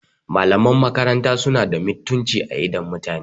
Malaman makarata suna da mutunci a idon mutane